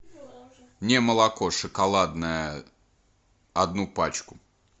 мне молоко шоколадное одну пачку